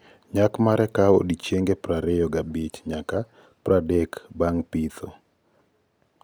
Nyak mare kao odiochienge prariyo gabich nyaka pradek bang pitho- nyak: tan aboro nyaka apagariyo ka eka Ford Hook Giant